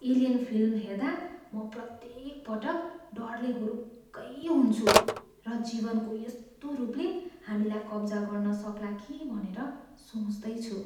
"Alien" film हेर्दा म प्रत्येकपटक डरले हुरुक्कै हुन्छु र जीवनको यस्तो रूपले हामीलाई कब्जा गर्न सक्ला कि भनेर सोच्दै छु।